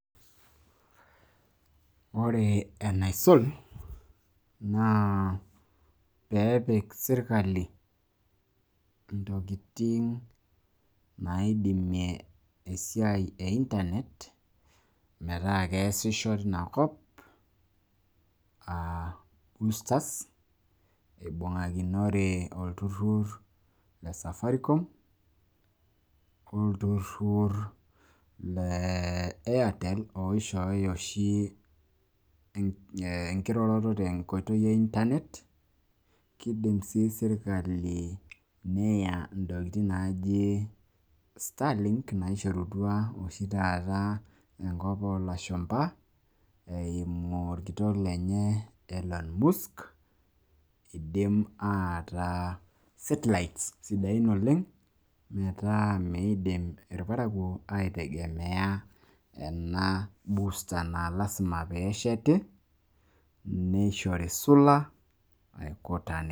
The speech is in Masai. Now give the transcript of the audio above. ore enaisul naa pee epik sirkali ntokitin naidimie esiai e internet meeta keesisho tinakop aairbustani nimung'akino olturur le safarikom ,artel, oshoyo oshi enkiroroto tenkoitoi e internet ,keidim sii neya starlings naishorutua ikwapi oolashumba naakidim neret oleng'.